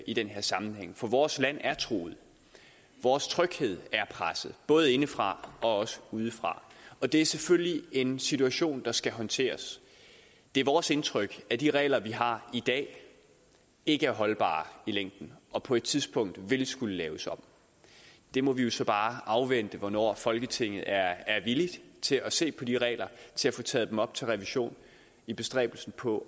i den her sammenhæng for vores land er truet vores tryghed er presset både indefra og udefra det er selvfølgelig en situation der skal håndteres det er vores indtryk at de regler vi har i dag ikke er holdbare i længden og på et tidspunkt vil de skulle laves om vi må jo så bare afvente hvornår folketinget er villig til at se på de regler og til at få taget dem op til revision i bestræbelsen på